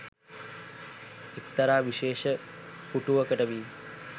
එක්තරා විශේෂ පුටුවකට වී